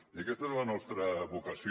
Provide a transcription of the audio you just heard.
i aquesta és la nostra vocació